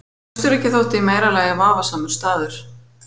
Austurríki þótti í meira lagi vafasamur staður.